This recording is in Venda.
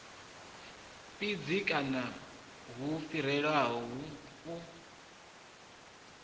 fhidzi kanzhi hu fhirelaho u